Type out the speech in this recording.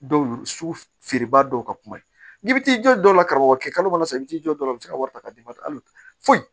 Dɔw sugu feere ba dɔw ka kuma ye n'i bɛ t'i jɔ dɔw la karamɔgɔ kɛ kalo kɔnɔ sa i bɛ t'i jɔ dɔ la i bɛ se ka wari ta k'a d'i ma hali foyi